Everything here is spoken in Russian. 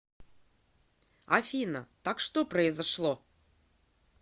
афина так что произошло